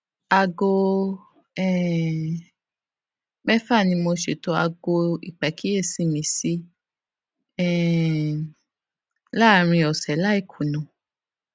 aago um méfà ni mo ṣètò aago ìpàkíyèsí mi sí um láàárín òsè láì kùnà